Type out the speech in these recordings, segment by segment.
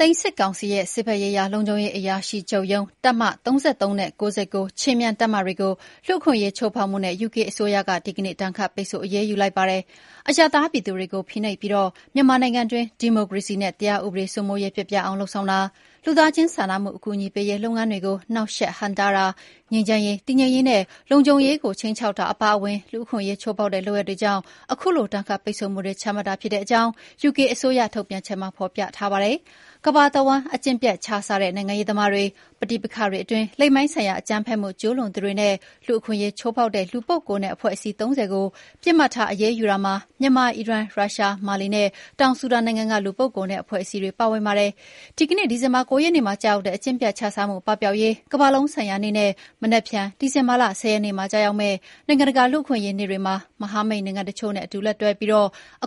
သိမ်းစစ်ကောင်စီရဲ့ စစ်ဘက်ရေးရာလုံခြုံရေးအရာရှိချုပ်ရုံး၊ တပ်မ (၃၃) နဲ့ (၉၉) ခြေမြန်တပ်မတွေကို လူ့အခွင့်အရေးချိုးဖောက်မှုနဲ့ ယူကေအစိုးရက ဒီကနေ့ ဒဏ်ခတ်ပိတ်ဆို့ အရေးယူလိုက်ပါတယ်။ အရပ်သားပြည်သူတွေကိုဖိနှိပ်ပြီး မြန်မာနိုင်ငံတွင်း ဒီမိုကရေစီနဲ့ တရားဥပဒေစိုးမိုးရေး ပျက်ပြားအောင်လုပ်ဆောင်တာ၊ လူသားချင်းစာနာမှု အကူအညီပေးရေးလုပ်ငန်းတွေကို နှောင့်ယှက်ဟန့်တားတာ၊ ငြိမ်းချမ်းရေး၊ တည်ငြိမ်ရေးနဲ့ လုံခြုံရေးကို ခြိမ်းခြောက်တာအပါအဝင် လူ့အခွင့်အရေး ချိုးဖောက်တဲ့လုပ်ရပ်တွေကြောင့် ခုလို ဒဏ်ခတ်ပိတ်ဆို့မှုတွေ ချမှတ်တာဖြစ်တဲ့အကြောင်း ယူကေအစိုးရထုတ်ပြန်ချက်မှာ ဖော်ပြထားပါတယ်။ ကမ္ဘာတဝန်း အကျင့်ပျက်ခြစားတဲ့ နိုင်ငံရေးသမားတွေ၊ ပဋိပက္ခတွေအတွင်း လိင်ပိုင်းဆိုင်ရာ အကြမ်းဖက်မှုကျူးလွန်သူတွေနဲ့ လူ့အခွင့်အရေးချိုးဖောက်တဲ့ လူပုဂ္ဂိုလ်နဲ့ အဖွဲ့အစည်း ၃၀ ကို ပစ်မှတ်ထားအရေးယူတာမှာ မြန်မာ၊ အီရန်၊ ရုရှား၊ မာလီနဲ့ တောင်ဆူဒန်နိုင်ငံတွေက လူပုဂ္ဂိုလ်နဲ့ အဖွဲ့အစည်းတွေ ပါဝင်တာဖြစ်ပါတယ်။ ဒီကနေ့ ဒီဇင်ဘာလ ၉ ရက်နေ့မှာ ကျရောက်တဲ့ အကျင့်ပျက်ခြစားမှုပပျောက်ရေး ကမ္ဘာလုံးဆိုင်ရာနေ့နဲ့ မနက်ဖြန် ဒီဇင်ဘာလ ၁၀ ရက်နေ့မှာ ကျရောက်မယ့် နိုင်ငံတကာ လူ့အခွင့်အရေးနေ့တွေမှာ မဟာမိတ်နိုင်ငံတချို့နဲ့အတူ လက်တွဲပြီး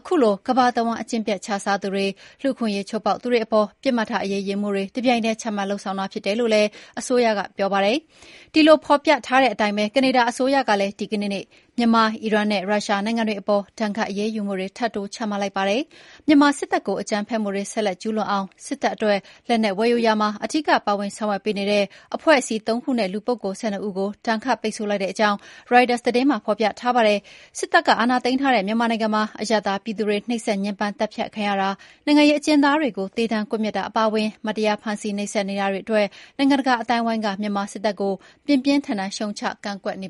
ခုလို ကမ္ဘာတဝန်း အကျင့်ပျက်ခြစားသူတွေ၊ လူ့အခွင့်အရေးချိုးဖောက်သူတွေအပေါ် ပစ်မှတ်ထားအရေးယူမှုတွေ တပြိုင်တည်းချမှတ်လုပ်ဆောင်တာဖြစ်တယ်လို့လည်း ယူကေအစိုးရက ပြောပါတယ်။ ဒီလို ဖော်ပြထားတဲ့အတိုင်းပဲ ကနေဒါအစိုးရကလည်း ဒီကနေ့ မြန်မာ၊ အီရန်နဲ့ ရုရှားနိုင်ငံတွေ အပေါ် ဒဏ်ခတ်အရေးယူမှုတွေ ထပ်တိုး ချမှတ်လိုက်ပါတယ်။ မြန်မာစစ်တပ်ကို အကြမ်းဖက်မှုတွေ ဆက်ကျူးလွန်နိုင်အောင် စစ်တပ်အတွက် လက်နက်ဝယ်ယူရာမှာ အဓိက ပါဝင် ဆောင်ရွက်ပေးနေတဲ့ အဖွဲ့အစည်း ၃ ခုနဲ့ လူပုဂ္ဂိုလ် ၁၂ ဦး ကို ဒဏ်ခတ်ပိတ်ဆို့ လိုက်တဲ့အကြောင်း ရိုက်တာသတင်းမှာ ဖော်ပြထားပါတယ်။ စစ်တပ် အာဏာသိမ်းထားတဲ့ မြန်မာနိုင်ငံမှာ အရပ်သား ပြည်သူတွေ နှိပ်စက် ညှင်းပမ်း သတ်ဖြတ်ခံရတာ၊ နိုင်ငံရေး အကျဉ်းသားတွေကို သေဒဏ်ကွက်မျက်တာ အပါအဝင် မတရား ဖမ်းဆီး နှိပ်စက်နေတာတွေအတွက် နိုင်ငံတကာ အသိုင်းအဝိုင်းက မြန်မာစစ်တပ်ကို ပြင်းပြင်းထန်ထန် ရှုတ်ချ ကန့်ကွက်နေ